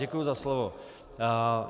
Děkuji za slovo.